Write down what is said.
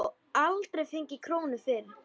Og aldrei fengið krónu fyrir.